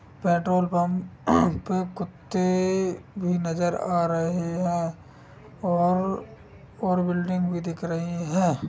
Petrol pump पे कुत्त्ते भी नज़र आ रहे हैं और और बिल्डिंग भी दिख रही है।